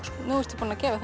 nú ertu búinn að gefa